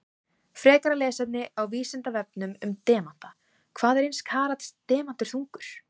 Frekara lesefni á Vísindavefnum um demanta: Hvað er eins karats demantur þungur?